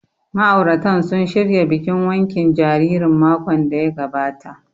Ma'auratan sun shirya bikin wankin jaririn makon da ya gabata